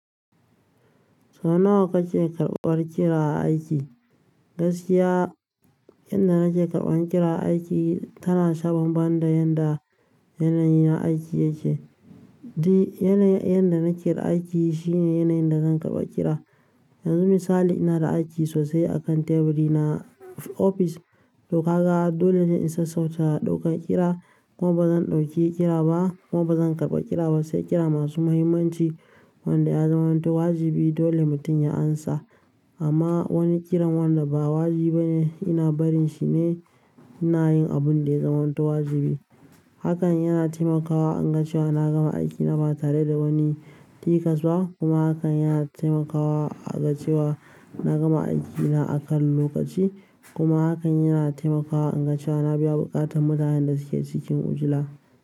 Sau nawa kake karɓar kira a aiki? Gaskiya, yanda nake karɓan kira a aiki tana shaban ban da yanda yanayi na aiki yake. D yanda nake kira aiki shine yanayin da zan karɓa kira. Yanzu misali ina da aiki sosai akan teburi na a ofis, toh kaga dole ne in sassauta ɗaukan kira kuma bazan ɗauki kira ba kuma bazan karɓa kira ba sai kira masu muhimmanci wanda ya zamanto wajibi dole mutum ya amsa. Amma wani kiran wanda ba wajibi bane ina barin shine ina yin abun da ya zamanto wajibi. Hakan yana taimakawa in ga cewa na gama aiki na ba tare da wani tikas ba kuma hakan yana taimakawa a ga cewa na gama aiki na akan lokaci kuma hakan yana taimakawa in ga cewa na biya buƙatan mutanen da suke cikin ujila.